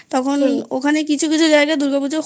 তখন ওখানে কিছু কিছু জায়গায় দুর্গাপূজা